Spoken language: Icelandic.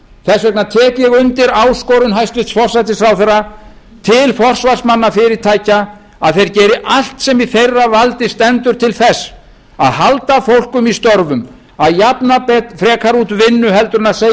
þess vegna tek ég undir áskorun hæstvirtur forsætisráðherra til forsvarsmanna fyrirtækja að þeir geri allt sem í þeirra valdi stendur til þess að halda fólki í störfum að jafna frekar út vinnu heldur en segja upp